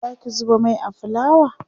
Zaki zuba Mai a fulawa?